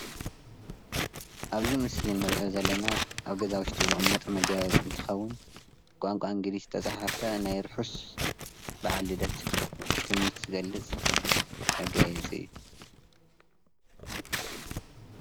አብዚ ምስሊ እንሪኦ ዘለና አብ ገዛ ውሽጢ ዝቅመጥ መጋየፂ እንትኸውን፤ ብቋንቋ እንግሊዝ ዝተፀሓፈ ናይ ርሑስ በዓል ልደት ትምኒት ዝገልፅ መጋየፂ እዩ፡፡